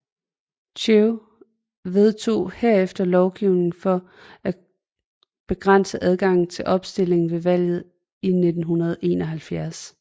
Thiệu vedtog derefter lovgivning for at begrænse adgangen til opstilling ved valget i 1971